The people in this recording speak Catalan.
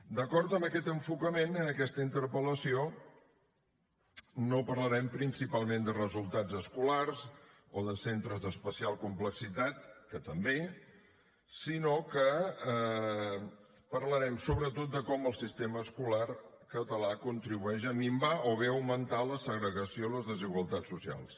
d’acord amb aquest enfocament en aquesta interpel·lació no parlarem principalment de resultats escolars o de centres d’especial complexitat que també sinó que parlarem sobretot de com el sistema escolar català contribueix a minvar o bé a augmentar la segregació i les desigualtats socials